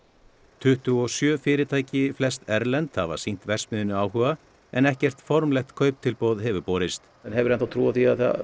tuttugu og sjö fyrirtæki flest erlend hafa sýnt verksmiðjunni áhuga en ekkert formlegt kauptilboð hefur borist hefurðu enn þá trú á því að það